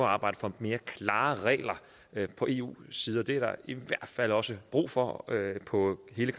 at arbejde for mere klare regler på eus side det er der i hvert fald også brug for på hele